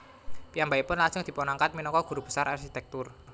Piyambakipun lajeng dipunangkat minangka guru besar arsitektur